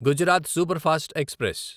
Gujarat superfast express